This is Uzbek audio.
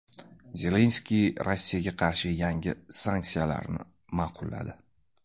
Zelenskiy Rossiyaga qarshi yangi sanksiyalarni ma’qulladi.